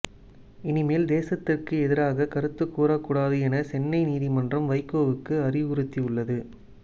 இனிமேல் தேசத்திற்கு எதிராக கருத்து கூறக்கூடாது என சென்னை நீதிமன்றம் வைகோவுக்கு அறிவுறுத்தியுள்ளது